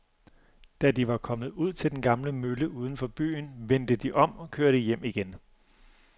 Da de var kommet ud til den gamle mølle uden for byen, vendte de om og kørte hjem igen.